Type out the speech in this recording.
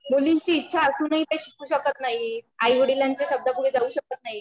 मुलींची इच्छा असूनही ते शिकू शकत नाहीत. आईवडिलांच्या शब्दाबाहेर जाऊ शकत नाहीत